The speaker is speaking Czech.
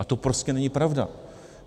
A to prostě není pravda.